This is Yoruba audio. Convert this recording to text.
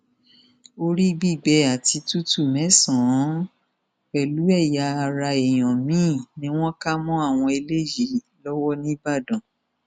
orí gbígbé àti tútù mẹsànán pẹlú ẹyà ara èèyàn míín ni wọn kà mọ àwọn eléyìí lọwọ nìbàdàn